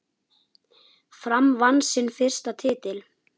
Fram vann sinn fyrsta titil.